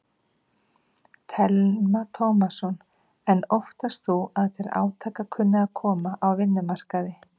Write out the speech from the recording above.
Telma Tómasson: En óttast þú að til átaka kunni að koma á vinnumarkaði?